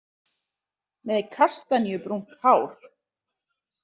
Með kastaníubrúnt hár.